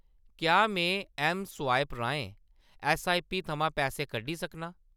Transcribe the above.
क्या में ऐम्मस्वाइप राहें ऐस्सआईपी थमां पैसे कड्ढी सकनां ?